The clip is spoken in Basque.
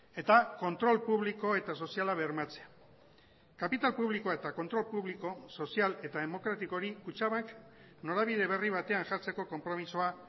eta kontrol publiko eta soziala bermatzea kapital publikoa eta kontrol publiko sozial eta demokratikori kutxabank norabide berri batean jartzeko konpromisoa